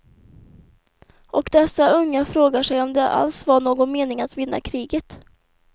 Och dessa unga frågar sig om det alls var någon mening att vinna kriget.